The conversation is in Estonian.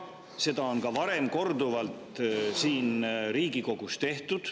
Seda on ka varem korduvalt siin Riigikogus tehtud.